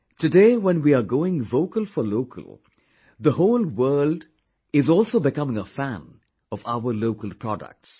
Today when we are going vocal for local, the whole world are also becoming a fan of our local products